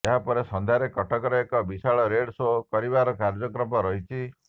ଏହା ପରେ ସନ୍ଧ୍ୟାରେ କଟକରେ ଏକ ବିଶାଳ ରୋଡ୍ ସୋ କରିବାର କାର୍ଯ୍ୟକ୍ରମ ରହିଛି